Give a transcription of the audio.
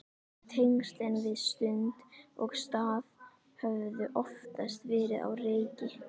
Tengslin við stund og stað höfðu oftast verið á reiki.